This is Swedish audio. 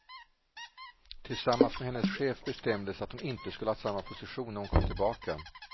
Tillsammans med hennes chef bestämdes att hon inte skulle ha samma position när hon kom tillbaka.